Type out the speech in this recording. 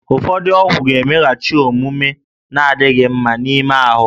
Ụfọdụ ọgwụ ga-emeghachi omume na-adịghị mma n'ime ahụ